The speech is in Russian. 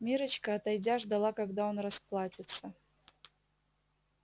миррочка отойдя ждала когда он расплатится